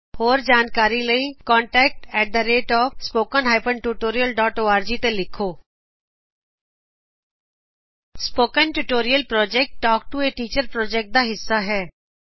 ਹੋਰ ਜਾਣਕਾਰੀ ਲਈ contactspoken tutorialorg ਤੇ ਲਿਖੋਂ spoken tutorial project talk to -a teacher project ਦਾ ਹਿੰਸਾ ਹੈ